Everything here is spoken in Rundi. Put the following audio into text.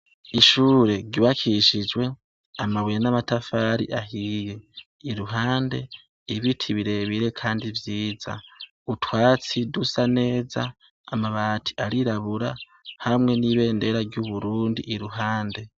Ishure ryubakishijwe amabuye n'amatafari ahiye. Iruhande, ibiti birebire kandi vyiza, utwatsi dusa neza, amabati arirabura hamwe n'ibendera ry'Uburundi iruhande.